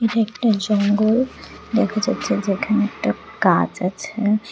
একটা জঙ্গল দেখা যাচ্ছে যেখানে একটা গাছ আছে।